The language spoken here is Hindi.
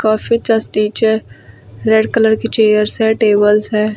और फिर जस्ट नीचे रेड कलर की चेयर्स है टेबल्स है।